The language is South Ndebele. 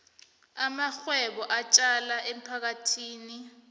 amarhwebo atjala emphakathini